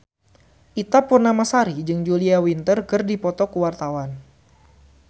Ita Purnamasari jeung Julia Winter keur dipoto ku wartawan